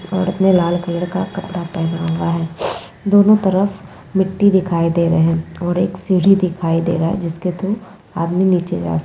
और ये लाल कलर का कपड़ा पहना हुआ है दोनों तरफ मिट्टी दिखाई दे रहा है और एक सीढ़ी दिखाई दे रहा है जिसके थ्रू आदमी नीचे जा स --